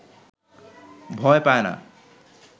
ভয় পায় না